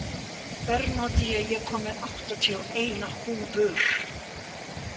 Bernódía, ég kom með áttatíu og eina húfur!